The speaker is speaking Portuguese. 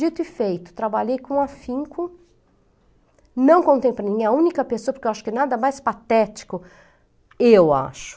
Dito e feito, trabalhei com afinco, não contemplei, nem a única pessoa, porque eu acho que nada mais patético, eu acho.